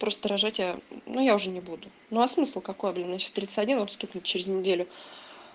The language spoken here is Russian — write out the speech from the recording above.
просто рожать я ну я уже не буду ну а смысл какой блин мне сейчас тридцать один стукнет через неделю